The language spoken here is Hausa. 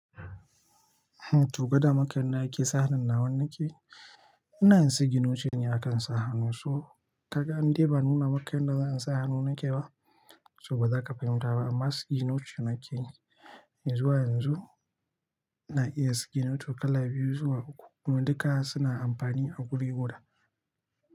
To gwada maka yan da ake sa hannun nawa nake, ina yin signature ɗin a kan sa hannu su. To ka ga in dai ba nuna maka yanda za'a sa hannu nake ba, to ba za ka fahimta ba. To gwada maka yan da ake sa hannun nawa nake, ina yin signature ɗinne a kan sa hannun su.